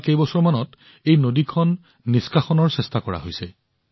যোৱা কেইবছৰমানৰ পৰা এই নদীখন ৰক্ষা কৰিবলৈ প্ৰচেষ্টা আৰম্ভ হৈছে